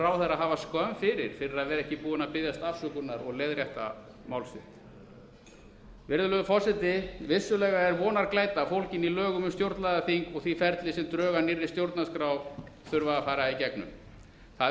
ráðherra hafa skömm fyrir að vera ekki búinn að biðjast afsökunar og leiðrétta mál sitt virðulegi forseti vissulega er vonarglæta fólgin í lögum um stjórnlagaþing og því ferli sem drög að nýrri stjórnarskrá þurfa að fara í gegnum það er